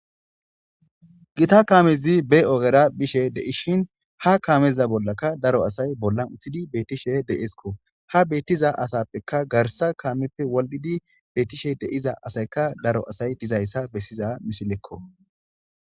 Giita kaamezi be oggera bishshe deishin ha kaameza bollaka daro asay bollan uttidi betishshe dessikko ha bettiza asappeka garssa kaameppe wodhdhidi betishe deiza asayka daro asay dizaysa besiza missilekko.